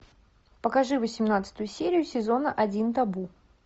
покажи восемнадцатую серию сезона один табу